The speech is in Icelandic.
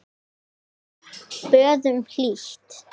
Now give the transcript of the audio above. Þeim boðum hlýtt.